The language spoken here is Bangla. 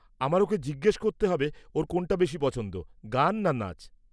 আমায় ওকে জিজ্ঞেস করতে হবে ওর কোনটা বেশী পছন্দ, গান না নাচ।